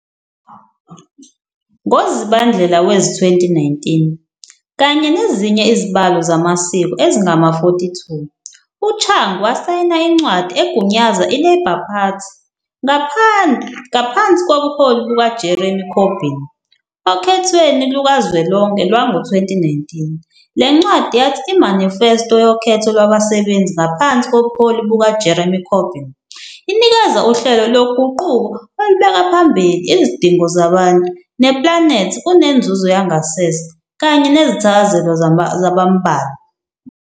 NgoZibandlela wezi-2019, kanye nezinye izibalo zamasiko ezingama-42, uChung wasayina incwadi egunyaza iLabour Party ngaphansi kobuholi bukaJeremy Corbyn okhethweni lukazwelonke lwango-2019. Le ncwadi yathi "I-manifesto yokhetho lwabasebenzi ngaphansi kobuholi bukaJeremy Corbyn inikeza uhlelo loguquko olubeka phambili izidingo zabantu neplanethi kunenzuzo yangasese kanye nezithakazelo zabambalwa."